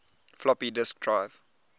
floppy disk drive